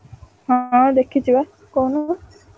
ହଁ ଦେଖିଚି ବା କହୁନୁ।